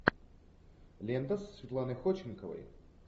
лента со светланой ходченковой